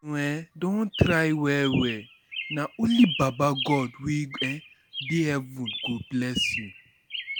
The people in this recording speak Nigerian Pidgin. um don try well-well, na only baba God wey um dey heaven go bless you.